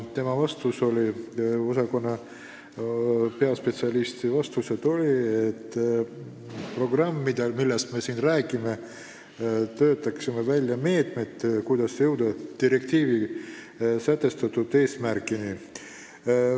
Välisõhu osakonna peaspetsialisti vastus oli, et seoses programmiga, millest me siin räägime, töötatakse välja meetmed, kuidas jõuda direktiiviga sätestatud eesmärkideni.